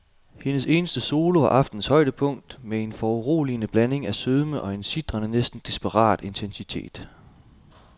Hendes eneste solo var aftenens højdepunkt med en foruroligende blanding af sødme og en sitrende, næsten desperat intensitet.